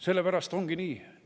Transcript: Sellepärast ongi nii.